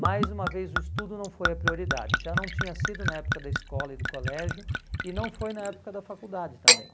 Mais uma vez o estudo não foi a prioridade, já não tinha sido na época da escola e do colégio e não foi na época da faculdade também.